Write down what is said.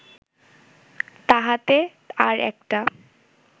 তাহাতে আর একটা